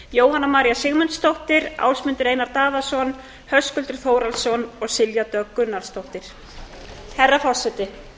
jóhanna maría sigmundsdóttir ásmundur einar daðason höskuldur þórhallsson og silja dögg gunnarsdóttir herra forseti